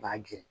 B'a gɛrɛn